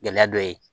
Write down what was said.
Gɛlɛya dɔ ye